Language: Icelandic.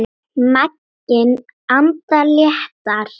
Maginn andar léttar.